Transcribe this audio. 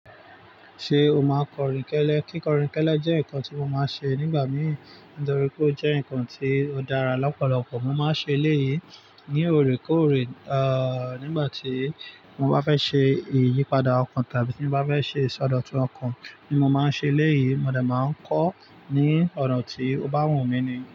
Ṣé o máa n kọrin kẹ́lẹ́? Kíkọrin kẹ́lẹ́ jẹ́ nǹkan tí mo máa ń ṣe nígbà mí nítorí pé ó jẹ́ nǹkan tí ó dára lọ́pọ̀lọpọ̀. Mo máa ń ṣe eléyìí ní òrékóòrè, nígbà tí mo bá fẹ́ ṣe ìyípadà ọkàn tàbí tí mo bá fẹ́ ṣe ìsọdọ̀tun ọkàn ni mo máa ń ṣe eléyìí. Mo de máa ń kọ ní ọ̀nà tí ó bá wù mí nì.